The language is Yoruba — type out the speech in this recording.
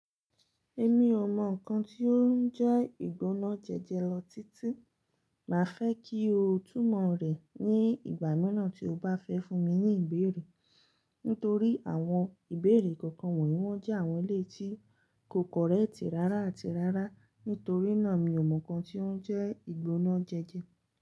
Èmi ò mọ nǹkan tí ó ń jẹ́ ìgbónájẹjẹ lọ títí, màá fẹ́ kí o túmọ̀ rẹ̀ ní ìgbà míràn tí o bá fẹ́ fún mi ní ìbéèrè. Nítorí àwọn ìbéèrè kọ̀ọ̀kan wọ̀nyí wọ́n jẹ́ àwọn èléyi tí kò kọ́rẹ́ẹ̀tì rárá àti rárá. Nítorí náà mi ò mọ nǹkan tí ó ń jẹ́ ìgbóná jẹjẹ.